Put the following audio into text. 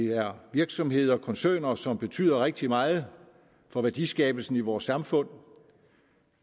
er virksomheder koncerner som betyder rigtig meget for værdiskabelsen i vores samfund